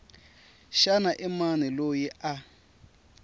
xana i mani loyi a